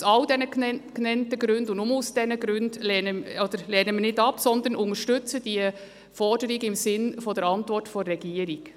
Aus all diesen genannten Gründen und nur aus diesen Gründen unterstützen wir die Forderung im Sinne der Antwort der Regierung.